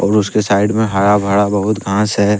और उसके साइड में हरा भरा बहुत घास है।